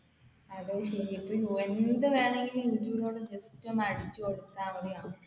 എന്ത് വേണമെങ്കിലും അടിച്ചു കൊടുത്ത മതി